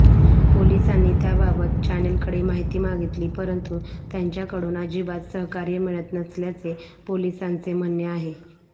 पोलिसांनी त्याबाबत चॅनेलकडे माहिती मागितली परंतू त्यांच्याकडून अजिबात सहकार्य मिळत नसल्याचे पोलिसांचे म्हणणे आहे